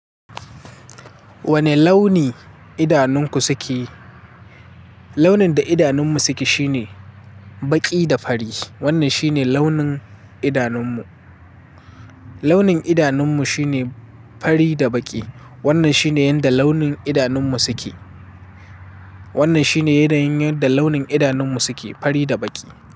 Wane launi idanunku suke? Launin da idanunmu suke shine baƙi da fari. Wannan shine launin idanunmu. Launin idanunmu shine fari da baƙi. Wannan shine yadda launin idanunmu suke. Wannan shine yanayin yadda launin idanunmu suke, fari da baƙi.